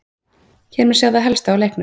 Hér má sjá það helsta úr leiknum: